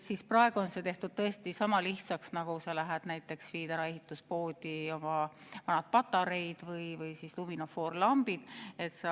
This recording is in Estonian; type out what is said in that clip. Nüüd tehakse asi tõesti sama lihtsaks, nagu sa lähed näiteks ehituspoodi ja annad oma vanad patareid või siis luminofoorlambid ära.